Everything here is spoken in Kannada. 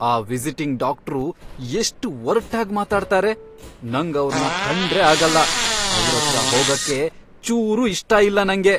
ಆ ವಿಸಿಟಿಂಗ್ ಡಾಕ್ಟ್ರು ಎಷ್ಟ್ ಒರ್ಟಾಗ್ ಮಾತಾಡ್ತಾರೆ, ನಂಗ್ ಅವ್ರ್ನ ಕಂಡ್ರೇ ಆಗಲ್ಲ. ಅವ್ರತ್ರ ಹೋಗಕ್ಕೆ ಚೂರು ಇಷ್ಟ ಇಲ್ಲ ನಂಗೆ.